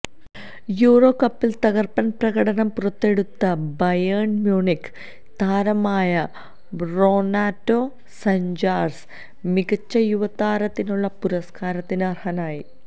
euro കപ്പില് തകര്പ്പന് പ്രകടനം പുറത്തെടുത്ത ബയേണ് മ്യൂണിക്ക് താരമായ റൊനാറ്റോ സാഞ്ചസ് മികച്ച യുവതാരത്തിനുള്ള പുരസ്കാരത്തിന് അര്ഹനായി